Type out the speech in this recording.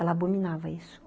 Ela abominava isso.